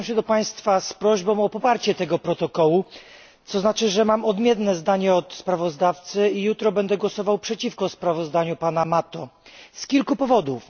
Zwracam się do państwa z prośbą o poparcie tego protokołu, co znaczy, że mam odmienne zdanie od sprawozdawcy i jutro będę głosował przeciwko sprawozdaniu pana Mato z kilku powodów.